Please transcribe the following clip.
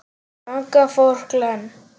Þangað fór Glenn.